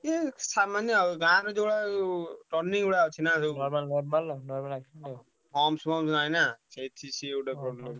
ଏଇ ସାମାନ୍ୟ ଆଉ ଗାଁରେ ଯୋଉଭଳିଆ ଯୋଉ turning ଗୁଡା ଅଛିନା ସବୁ humps ଫମ୍ପସ ନାଇଁ ନା ସେଇଠି ସିଏ ଗୋଟେ problem ।